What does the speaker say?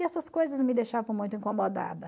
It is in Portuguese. E essas coisas me deixavam muito incomodada.